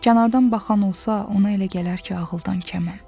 Kənardan baxan olsa, ona elə gələr ki, ağıldan kəməm.